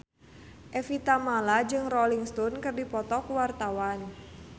Evie Tamala jeung Rolling Stone keur dipoto ku wartawan